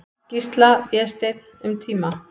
Gísla, Vésteinn, um tíma.